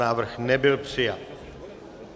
Návrh nebyl přijat.